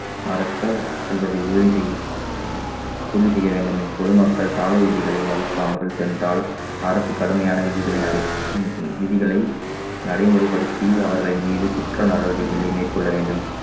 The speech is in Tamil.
நடத்த செல்வதை உறுதி செய்~ உறுதி செய்ய வேண்டும் பொதுமக்கள் சாலை விதிகளை மதிக்காமல் சென்றால் அரசு கடுமையான விதிகளை நடை~ விதிகளை நடைமுறைப்படுத்தி அவர்களின் மீது குற்ற நடவடிக்கைகளை மேற்கொள்ள வேண்டும்